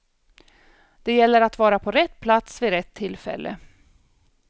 Det gäller att vara på rätt plats vid rätt tillfälle.